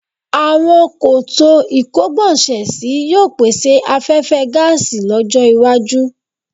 Àwọn koto ìkógbọ̀nsẹ̀sí yóò pèsè afẹhfẹ́ gáàsì lọ́jọ́-iwájú.